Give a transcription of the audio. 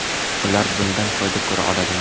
Ular bundan foyda ko‘ra oladimi?